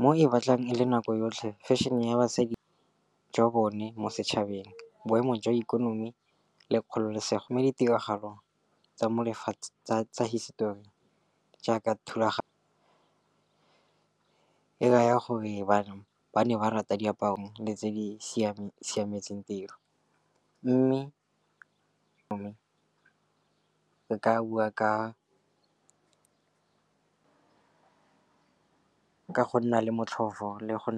Mo e batlang e le nako yotlhe fešhene ya basadi jwa bone mo setšhabeng, boemo jwa ikonomi le kgololosego. Mo ditiragalong tsa hisetori jaaka thulaganyo e raya gore bana ba ne ba rata diaparo le tse di siametseng tiro. Mme ka bua ka ka go nna le motlhofo le go.